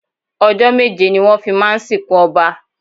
Ọjọ́ méje ni wón fi máa ń sì kún Ọba.